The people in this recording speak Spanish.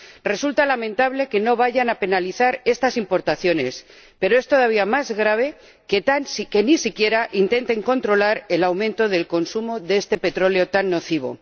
Resulta lamentable que no vayan a penalizar estas importaciones, pero es todavía más grave que ni siquiera intenten controlar el aumento del consumo de este petróleo tan nocivo.